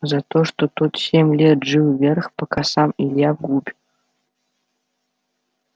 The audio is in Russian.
за то что тот семь лет жил вверх пока сам илья вглубь